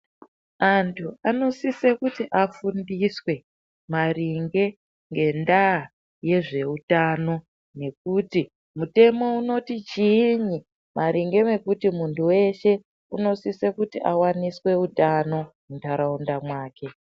Antu anosise kuti afundiswe maringe ngendava yezvehutano, nekuti mutemo unoti chii maringe ngekuti muntu weshe unosise kuti awaniswe hutano mundarawunda mwake.